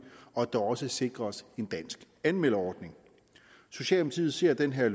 og at der også sikres en dansk anmelderordning socialdemokratiet ser det her